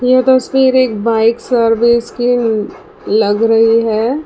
यह तस्वीर एक बाइक सर्विस की लग रही है।